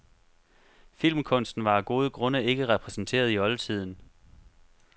Filmkunsten var af gode grunde ikke repræsenteret i oldtiden.